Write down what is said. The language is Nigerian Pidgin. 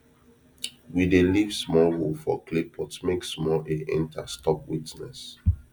we dey leave small hole for clay pot make small air enter stop wetness